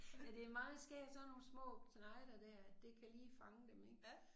Ja det meget skægt sådan nogle små knejte dér det kan lige fange dem ik